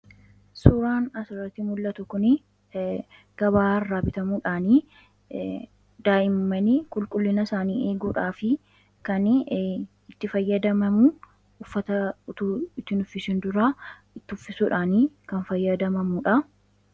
Suuraan kanaan gaditti mul'atu kun daa'imman qulqullina isaanii ittiin eeguuf kan fayyaduu dha. Innis uffata osoo itti hin uwwisin kan itti uwwifamuu dha.